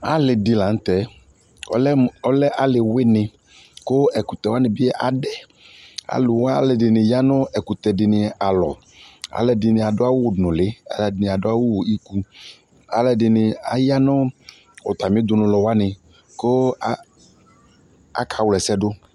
Ale de lantɛ, ɔlɛ mo, ɔlɛ ale wene ko ɛkɔtɔ wane be adɛAluwa , alɛde ne ya no ɛkutɛ de ne alɔAlɛde de ne ado awu nuli , alɛde ne ado awu uwɔ ikuAlɛde ne aya no atame dunu lɔ wane ko a, aka wla asɛ do